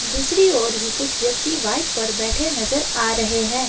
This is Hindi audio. दूसरी ओर भी कुछ व्यक्ति बाइक पर बैठे नजर आ रहे हैं।